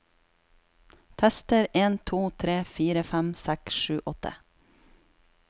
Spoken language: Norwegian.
Tester en to tre fire fem seks sju åtte